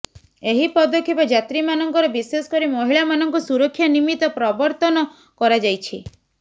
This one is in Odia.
ଏହି ପଦକ୍ଷେପ ଯାତ୍ରୀମାନଙ୍କର ବିଶେଷକରି ମହିଳାମାନଙ୍କ ସୁରକ୍ଷା ନିମିତ୍ତ ପ୍ରବର୍ତ୍ତନ କରାଯାଇଛି